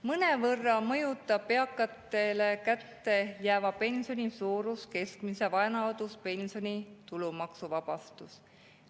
Mõnevõrra mõjutab eakatele kätte jääva pensioni suurust keskmise vanaduspensioni tulumaksuvabastus.